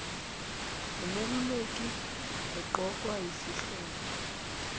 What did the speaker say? wumeluleki eqokwa yisihlobo